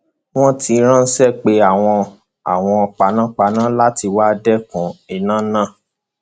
wọn ti ránṣẹ pe àwọn àwọn panápaná láti wáá dẹkun iná náà